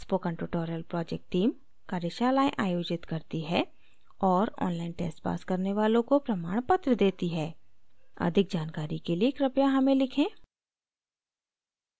spoken tutorial project team कार्यशालाएं आयोजित करती है और online tests pass करने वालों को प्रमाणपत्र देती है अधिक जानकारी के लिए कृपया हमें लिखें